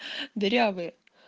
дырявые